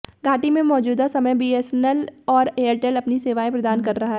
घाटी में मौजूदा समय में बीएसएनएल और एयरटेल अपनी सेवाएं प्रदान कर रहा है